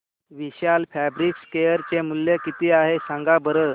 विशाल fabrics share चे मूल्य किती आहे सांगा बरं